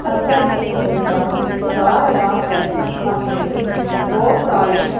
ਅੰਦਰ ਇੱਕ ਬੰਦਾ ਜਾ ਰਿਹਾ ਹੈ ਅਤੇ ਬਹੁਤ ਸਾਰੇ ਬੁ--